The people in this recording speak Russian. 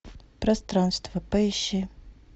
пространство поищи